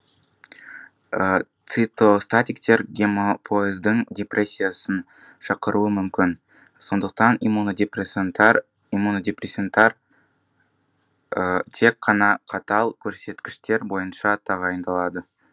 цитостатиктер гемопоэздің депрессиясын шақыруы мүмкін сондықтан иммунодепрессанттар тек қана қатал көрсеткіштер бойынша тағайындалады